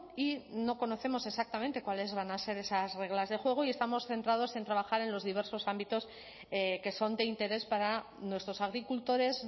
y no conocemos exactamente cuáles van a ser esas reglas de juego y estamos centrados en trabajar en los diversos ámbitos que son de interés para nuestros agricultores